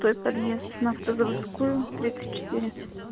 подъезд на автозаводскую